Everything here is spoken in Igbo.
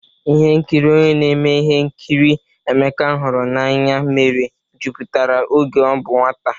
Ihe nkiri onye na-eme ihe nkiri Emeka hụrụ n'anya mere jupụtara oge ọ bụ nwata.